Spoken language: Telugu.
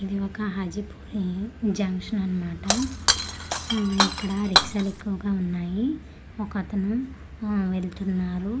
ఇది ఒక హాజీ పూరీ జంక్షన్ అన్నమాట హు ఇక్కడ రీక్షలు ఎక్కువగా వున్నాయి ఒకతను ఊ వెళ్తున్నారు .]